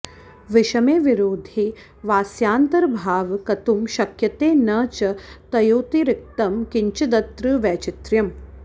विषमे विरोधे वास्यान्तर्भावः कत्तुं शक्यते न च तयोरतिरिक्तं किञ्चिदत्र वैचित्र्यम्